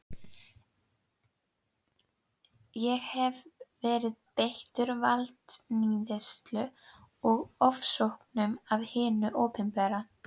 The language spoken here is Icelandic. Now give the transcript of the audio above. Ég hef verið beittur valdníðslu og ofsóknum af hinu opinbera.